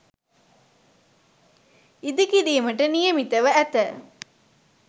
ඉදිකිරීමට නියමිතව ඇත.